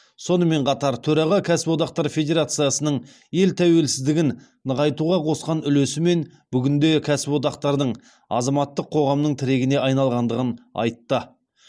сонымен қатар төраға кәсіподақтар федерациясының ел тәуелсіздігін нығайтуға қосқан үлесі мен бүгінде кәсіподақтардың азаматтық қоғамның тірегіне айналғандығын айтты